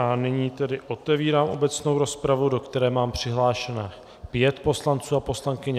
A nyní tedy otevírám obecnou rozpravu, do které mám přihlášeno pět poslanců a poslankyň.